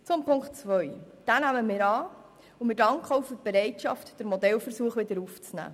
Die Ziffer 2 nehmen wir an und danken für die Bereitschaft, den Modellversuch wieder aufzunehmen.